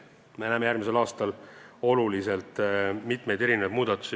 Me näeme järgmisel aastal mitmeid olulisi muudatusi.